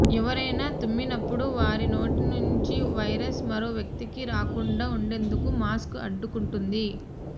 ఎవరైనా తుమ్మినప్పుడు వారి నోటి నుంచి వైరస్ మరో వ్యక్తికి రాకుండా ఉండేందుకు మాస్క్ అడ్డుకుంటుంది